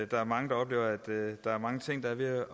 der er mange der oplever at der er mange ting der er ved